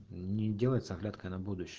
не делает с оглядкой на будущ